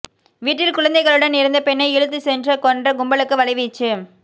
வீட்டில் குழந்தைகளுடன் இருந்த பெண்ணை இழுத்துச் சென்று கொன்ற கும்பலுக்கு வலைவீச்சு